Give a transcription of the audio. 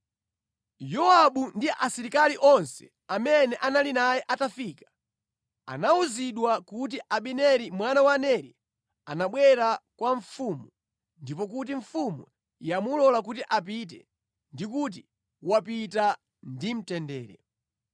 Yowabu ndi asilikali onse amene anali naye atafika, anawuzidwa kuti Abineri mwana wa Neri anabwera kwa mfumu ndipo kuti mfumu yamulola kuti apite ndi kuti wapita ndi mtendere.